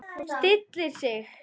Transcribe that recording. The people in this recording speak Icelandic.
Stillir sig.